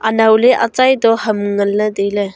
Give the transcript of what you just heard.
naule achai toh ham ngan le taile.